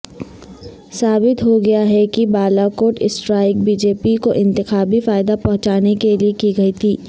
ثابت ہوگیا کہ Balakot strike B J P کو انتخابی فائدہ پہنچانےکیلئےکی گئی تھی